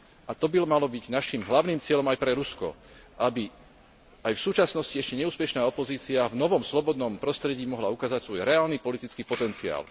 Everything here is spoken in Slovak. a to by malo byť našim hlavným cieľom aj pre Rusko, aby aj v súčasnosti ešte neúspešná opozícia v novom slobodnom prostredí mohla ukázať svoj reálny politický potenciál.